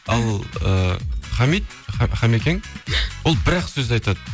ал ы хамид хамикең ол бір ақ сөз айтады